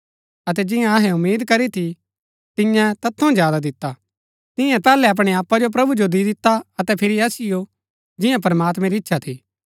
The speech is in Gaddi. अतै जियां अहै उम्मीद करी थी तियैं तैत थऊँ ज्यादा दिता तियें पैहलै अपणै आपा जो प्रभु जो दी दिता अतै फिरी असिओ जियां प्रमात्मैं री इच्छा थी